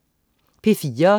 P4: